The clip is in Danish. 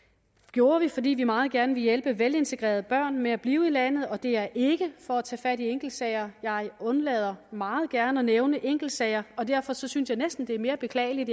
gjorde vi fordi vi meget gerne ville hjælpe velintegrerede børn med at blive i landet og det er ikke for at tage fat i enkeltsager jeg undlader meget gerne at nævne enkeltsager og derfor synes jeg næsten det er mere beklageligt